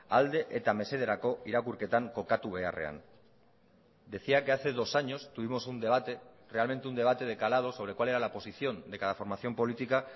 alde eta mesederako irakurketan kokatu beharrean decía que hace dos años tuvimos un debate realmente un debate de calado sobre cuál era la posición de cada formación política